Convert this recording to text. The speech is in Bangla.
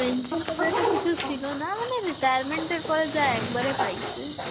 pension Hindi তো কিছু ছিল না, মানে retirement এরপরে যা একবারে পাইসে.